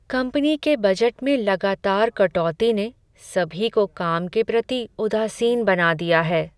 Company के budget में लगातार कटौती ने सभी को काम के प्रति उदासीन बना दिया है।